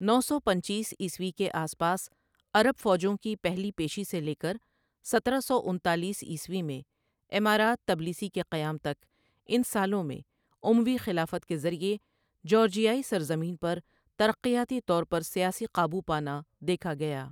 نو سو پنچیس عیسوی کے آس پاس عرب فوجوں کی پہلی پیشی سے لے کر سترہ سو انتالیس عیسوی میں امارات تبلیسی کے قیام تک ان سالوں میں اموی خلافت کے ذریعہ جارجیائی سرزمین پر ترقیاتی طور پر سیاسی قابو پانا دیکھا گیا